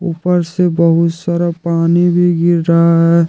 ऊपर से बहुत सारा पानी भी गिर रहा है।